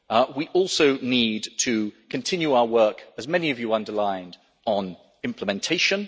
We also need to continue our work, as many of you underlined, on implementation.